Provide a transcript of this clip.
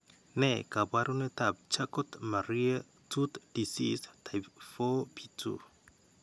Ne kaabarunetap Charcot Marie Tooth disease type 4B2?